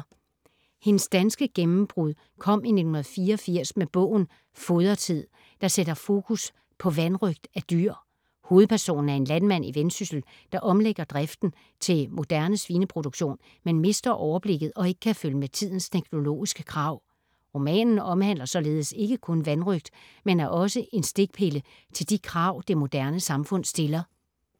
Hendes danske gennembrug kom i 1984 med bogen Fodretid, der sætter fokus på vanrøgt af dyr. Hovedpersonen er en landmand i Vendsyssel, der omlægger driften til moderne svineproduktion, men mister overblikket og ikke kan følge med tidens teknologiske krav. Romanen omhandler således ikke kun vanrøgt, men er også en stikpille til de krav det moderne samfund stiller.